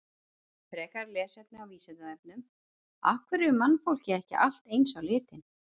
Frekara lesefni á Vísindavefnum: Af hverju er mannfólkið ekki allt eins á litinn?